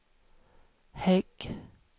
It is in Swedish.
Hägg